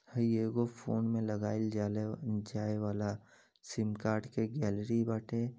हई येगो फोन में लगाइल जालेजाये वाला सिम कार्ड के गैलरी बाटे।